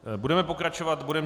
Budeme pokračovat bodem